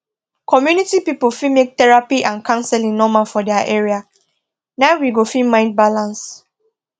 community people fit make therapy and counseling normal for their area na we go fit mind balance